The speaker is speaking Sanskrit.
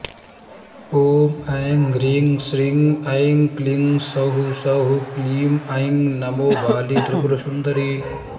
ॐ ऐं ह्रीं श्रीं ऐं क्लीं सौः सौः क्लीं ऐं नमो बाले त्रिपुरसुन्दरि